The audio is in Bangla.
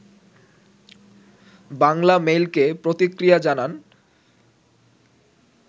বাংলামেইলকে প্রতিক্রিয়া জানান